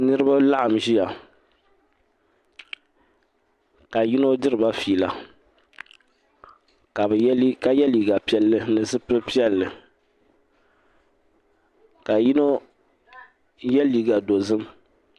Niribi n laɣim n ʒiya ka yinɔ dirila fiila ka ye liiga piɛli nizipili piɛli ka yinɔ ye liiga dozim.